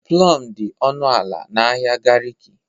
Plọm dị ọnụ ala n'ahịa Garki.